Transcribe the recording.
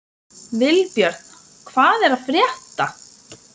Vilbjörn, hvað er að frétta?